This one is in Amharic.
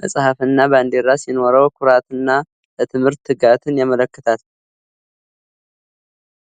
መጽሐፍና ባንዲራ ሲኖረው፣ ኩራትና ለትምህርት ትጋትን ያመለክታል።